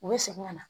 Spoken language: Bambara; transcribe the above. U bɛ segin ka na